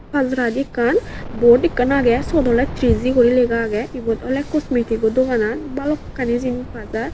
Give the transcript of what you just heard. pajaradi ekkan bot ekkan age siyot awle triji guri lega age ibot awle cosmetigo doganan balokkani jinis pa jar.